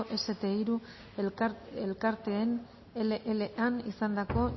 ese te hiru elkartearen leean izandako